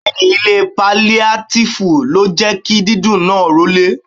Bẹẹni, ilé paliatifu ló jẹ́ kí dídùn náà rolè.